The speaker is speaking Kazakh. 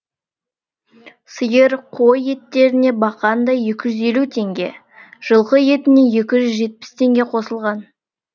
сиыр қой еттеріне бақандай екі жүз елу теңге жылқы етіне екі жүз жетпіс теңге қосылған